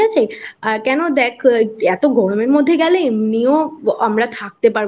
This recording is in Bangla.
আ কেন দেখ এতো গরমের মধ্যে গেলে এমনিও আমরা থাকতে